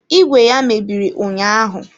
Ìgwè ya mebiri ụnyaahụ.